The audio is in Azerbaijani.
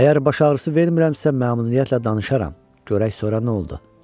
Əgər baş ağrısı vermirəmsə məmnuniyyətlə danışaram, görək sonra nə oldu?